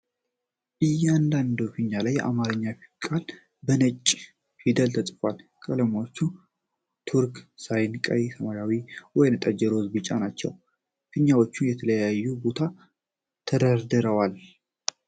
እያንዳንዱ ፊኛ ላይ አንድ የአማርኛ ቃል በነጭ ፊደል ተጽፏል። ቀለሞቹ ቱርክሳይስ፣ ቀይ፣ ሰማያዊ፣ ወይንጠጅ፣ ሮዝ እና ቢጫ ናቸው። ፊኛዎቹ በተለያየ ቦታ ተደርድረዋል።